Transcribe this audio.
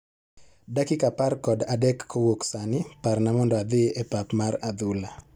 Dakika apar kod adek kowuk sani, parna mondo adhi e pap mar adhula.